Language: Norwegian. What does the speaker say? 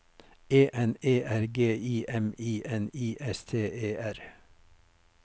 E N E R G I M I N I S T E R